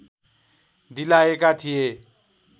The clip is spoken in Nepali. दिलाएका थिए